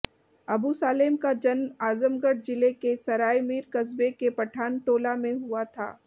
अबु सालेम का जन्म आजमगढ़ जिले के सरायमीर कस्बे के पठानटोला में हुआ था